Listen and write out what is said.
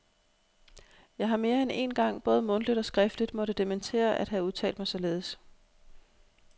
Jeg har mere end én gang både mundtligt og skriftligt måtte dementere at have udtalt mig således.